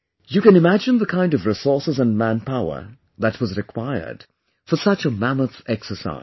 You can imagine the kind of resources and manpower that was required for such a mammoth exercise